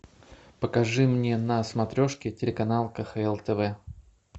покажи мне на смотрешке телеканал кхл тв